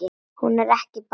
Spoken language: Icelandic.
Hún er ekkert barn.